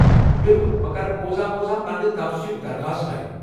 بِلکُل، بہٕ کرٕ بوزان بوزان پننہِ توسیٖعٕ ہُك درخاست ٹایپ۔